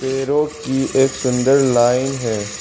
पेड़ों की एक सुंदर लाइन है।